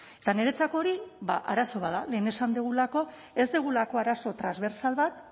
eta niretzako hori ba arazo bat da lehen esan dugulako ez dugulako arazo transbertsal bat